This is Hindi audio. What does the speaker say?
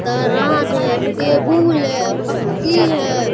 गाराज है टेबुल है पक्की है।